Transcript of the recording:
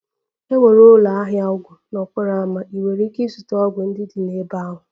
Enwere ụlọ ahịa ọgwụ n'okporo ámá, ị nwere ike ịzụta ọgwụ ndị dị n'ebe ahụ